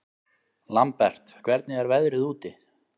Lambert, hvernig er veðrið úti?